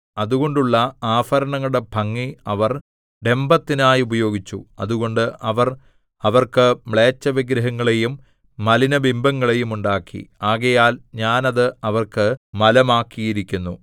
അതുകൊണ്ടുള്ള ആഭരണങ്ങളുടെ ഭംഗി അവർ ഡംഭത്തിനായി ഉപയോഗിച്ചു അതുകൊണ്ട് അവർ അവർക്ക് മ്ലേച്ഛവിഗ്രഹങ്ങളെയും മലിനബിംബങ്ങളെയും ഉണ്ടാക്കി ആകയാൽ ഞാൻ അത് അവർക്ക് മലമാക്കിയിരിക്കുന്നു